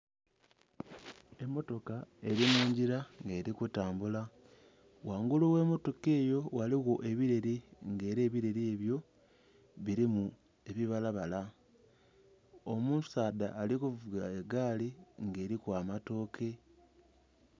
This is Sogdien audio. Emotoka eri mungila nga eri kutambula, ghangulu ghe motoka eyo ghaligho ebileeli nga era ebileeli ebyo bilimu ebibala bala. Omusaadha ali kuvuga egaali nga eliku amatoke.